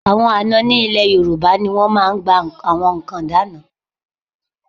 Àwọn àna ní ilẹ̀ Yorùbá ni wọ́n máa ń gba nǹkan ìdána.